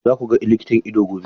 Za ku ga likitan ido gobe?